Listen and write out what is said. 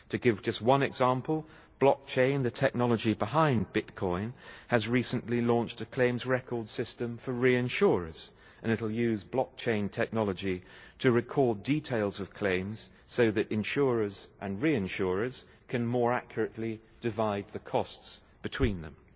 To give just one example, Blockchain, the technology behind Bitcoin, has recently launched a claims record system for reinsurers, and it will use Blockchain technology to record details of claims, so that insurers and reinsurers can more accurately divide the costs between them.